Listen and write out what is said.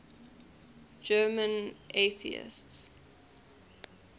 german atheists